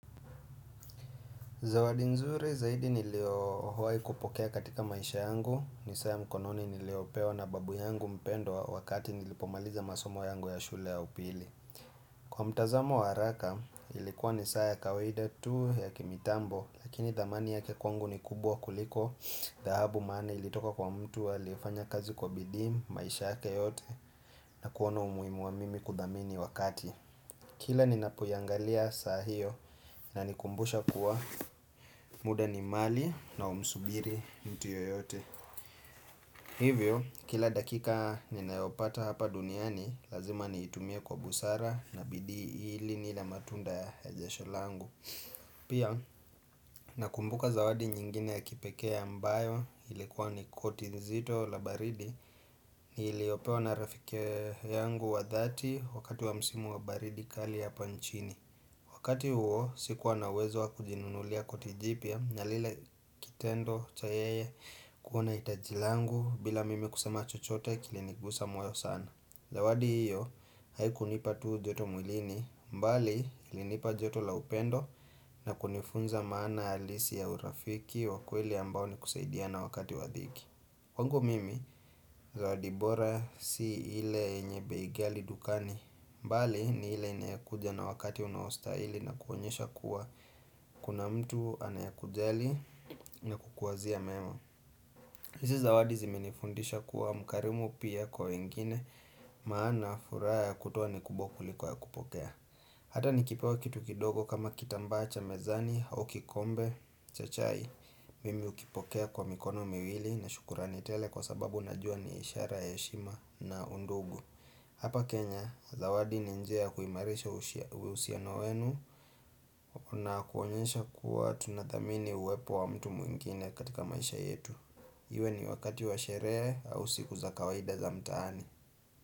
Zawadi nzuri zaidi nilio wahi kupokea katika maisha yangu, ni saa ya mkononi niliyopewa na babu yangu mpendwa wakati nilipomaliza masomo yangu ya shule ya upili. Kwa mtazamo wa haraka, ilikuwa ni saa ya kawaida tu ya kimitambo, lakini dhamani yake kwangu ni kubwa kuliko, dhahabu maana ilitoka kwa mtu aliyefanya kazi kwa bidii, maisha yake yote, na kuona umuhimu wa mimi kudhamini wakati. Kila ninapo iyangalia saa hio inanikumbusha kuwa, muda ni mali na humsubiri mtu yoyote Hivyo, kila dakika ninayopata hapa duniani, lazima niitumie kwa busara na bidii ili nile matunda ya a jasho langu Pia, nakumbuka zawadi nyingine ya kipekee ambayo ilikuwa ni koti nzito la baridi niliopewa na rafikee yangu wa dhati wakati wa msimu wa baridi kali hapa nchini Wakati huo, sikuwa na uwezo wa kujinunulia koti jipya, na lile kitendo cha yeye kuona hitaji langu bila mimi kusema chochote kilinigusa moyo sana. Zawadi hiyo, haikunipa tu joto mwilini, mbali ilinipa joto la upendo na kunifunza maana halisi ya urafiki wakweli ambao ni kusaidiana wakati wadhiki. Kwangu mimi zawadi bora si ile nyenye bei ghali dukani, mbali ni ile inayekuja na wakati unaostahili na kuonyesha kuwa kuna mtu anayakujali na kukuwazia mema. Hizi zawadi zimenifundisha kuwa mkarimu pia kwa wengine maana furaha ya kutua ni kubwa kuliko ya kupokea. Hata nikipewa kitu kidogo kama kitambaa cha mezani au kikombe cha chai. Mimi ukipokea kwa mikono miwili na shukurani tele kwa sababu najua ni ishara ya heshima na undugu. Hapa Kenya, zawadi ni njia ya kuimarisha ushia uhusiano wenu. Na kuonyesha kuwa tuna dhamini uwepo wa mtu mwingine katika maisha yetu. Iwe ni wakati wa sherehe au siku za kawaida za mtaani.